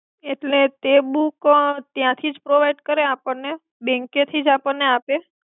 એટ્લે તે બુક ત્યાથી જ પ્રોવિડ કરે આપને બેન્કે થિ જ આપને આપે